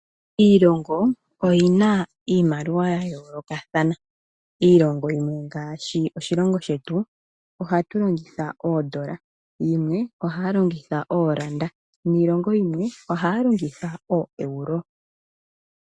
Iilongo oyina iimaliwa yayoolokathana. Iilongo yimwe ngaashi oshilongo shetu ohatu longitha oodola, yimwe ohaya longitha ooranda niilongo yimwe ohaya longitha ooEuro.